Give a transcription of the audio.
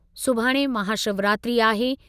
सुभाणे महाशिवरात्रि आहे।